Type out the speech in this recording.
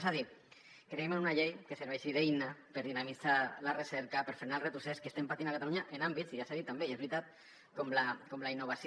és a dir creiem en una llei que serveixi d’eina per dinamitzar la recerca per frenar el retrocés que estem patint a catalunya en àmbits i ja s’ha dit també i és veritat com la innovació